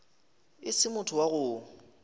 e se motho wa go